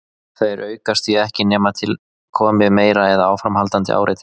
Þeir aukast því ekki nema til komi meira eða áframhaldandi áreiti.